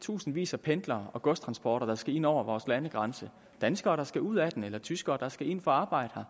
tusindvis af pendlere og godstransporter der skal ind over vores landegrænse danskere der skal ud af den eller tyskere der skal ind for at arbejde her